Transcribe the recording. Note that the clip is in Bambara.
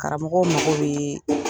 Karamɔgɔw mago bee